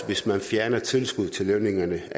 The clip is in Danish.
hvis man fjernede tilskuddet til lønningerne